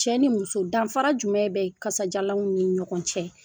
Cɛ ni muso danfara jumɛn bɛ kasadiyalanw ni ɲɔgɔn cɛ